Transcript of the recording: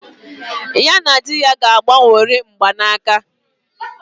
Ya na di ya ga-agbanworị mgbanaka